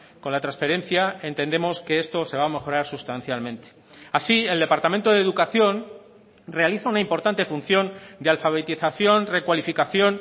con la transferencia entendemos que esto se va a mejorar sustancialmente así el departamento de educación realiza una importante función de alfabetización recualificación